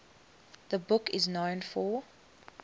the book is known for